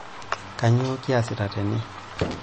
Kainyoo kiasita tene?